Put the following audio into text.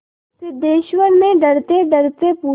सिद्धेश्वर ने डरतेडरते पूछा